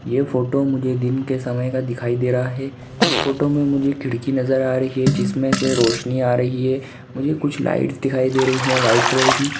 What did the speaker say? यह फोटो मुझे दिन के समय का दिखाई दे रहा है एस फोटो में मुझे खिड़की नजर आ रही है जिसमे से रोशनी आ रही है मुझे कुछ लाइट दिखाई दे रही है व्हाइट कलर की।